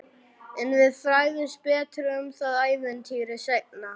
En við fræðumst betur um það ævintýri seinna.